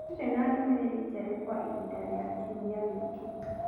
Ndirĩ na ndũmĩrĩri njerũ kwa ihinda rĩa kiumia gĩkĩ